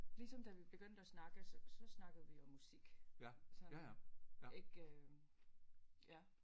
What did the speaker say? Ligesom da vi begyndte at snakke så snakkede vi om musik sådan ikke ja